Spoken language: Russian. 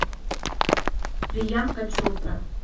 приянка чопра